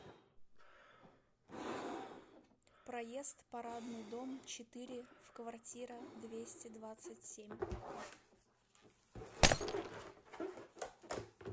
проезд парадный дом четыре в квартира двести двадцать семь